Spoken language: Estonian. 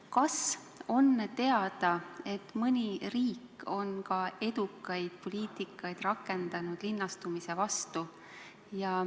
Kas on teada, et mõni riik on ka edukaid poliitikaid rakendanud linnastumise vastu?